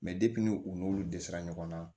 ni u n'olu dɛsɛra ɲɔgɔn na